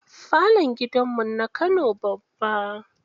Falon gidan mu na kano babba.